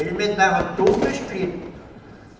Ele me dava tudo escrito.